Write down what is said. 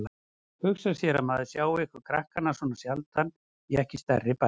Hugsa sér að maður sjái ykkur krakkana svona sjaldan í ekki stærri bæ.